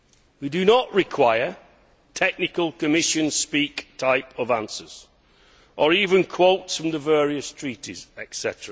We do not require technical Commission speak answers or even quotes from the various treaties, etc.